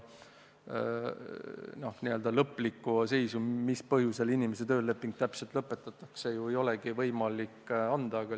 Ega n-ö lõplikku järeldust, mis põhjusel inimese tööleping ikkagi lõpetatud on, ei olegi ju võimalik teha.